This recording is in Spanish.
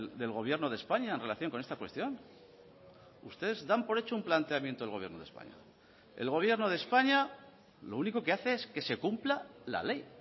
del gobierno de españa en relación con esta cuestión ustedes dan por hecho un planteamiento del gobierno de españa el gobierno de españa lo único que hace es que se cumpla la ley